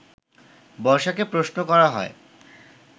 বর্ষাকে প্রশ্ন করা হয়